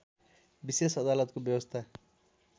विशेष अदालतको व्यवस्था